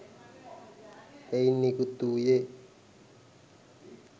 එයින් නිකුත් වූයේ